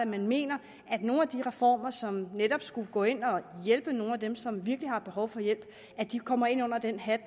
man mener at nogle af de reformer som netop skulle gå ind og hjælpe nogle af dem som virkelig har behov for hjælp kommer ind under den hat